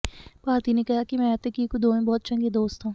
ਭਾਰਤੀ ਨੇ ਕਿਹਾ ਕਿ ਮੈਂ ਅਤੇ ਕੀਕੂ ਦੋਵੇਂ ਬਹੁਤ ਚੰਗੇ ਦੋਸਤ ਹਾਂ